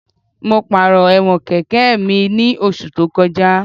Mo pàrọ̀ ẹ̀wọ̀n kẹ̀kẹ́ mi ní oṣù tó kọjá